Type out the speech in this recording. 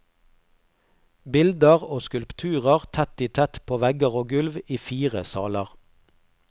Bilder og skulpturer tett i tett på vegger og gulv i fire saler.